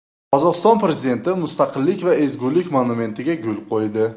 Qozog‘iston prezidenti Mustaqillik va ezgulik monumentiga gul qo‘ydi.